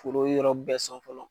Foro yɔrɔ bɛɛ sɔn fɔlɔ